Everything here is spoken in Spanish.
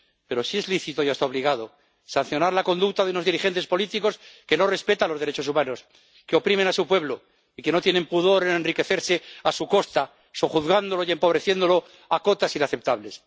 Pero sí es lícito y hasta obligado sancionar la conducta de unos dirigentes políticos que no respetan los derechos humanos, que oprimen a su pueblo, y que no tienen pudor en enriquecerse a su costa, sojuzgándolo y empobreciéndolo, hasta cotas inaceptables.